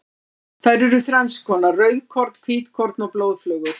Þær eru þrennskonar, rauðkorn, hvítkorn og blóðflögur.